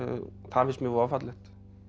finnst mér voða fallegt